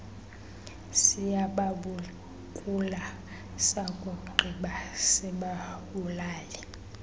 siyababukula sakugqiba sibabulale